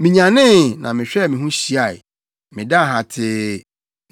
Minyanee, na mehwɛɛ me ho hyiae. Medaa hatee.